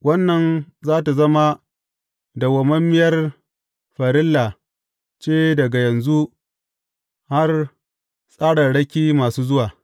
Wannan za tă zama dawwammamiyar farilla ce daga yanzu har tsararraki masu zuwa.